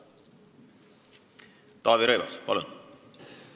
Taavi Rõivas, palun!